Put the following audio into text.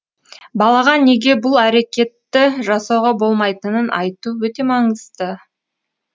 балаға неге бұл әрекетті жасауға болмайтынын айту өте маңызды